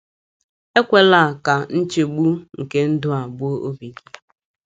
Ekwela ka nchegbu nke ndụ a gbuo obi gị.